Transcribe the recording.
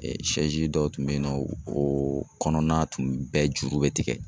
dɔw tun bɛ yen nɔ o kɔnɔna tun bɛɛ juru bɛ tigɛ.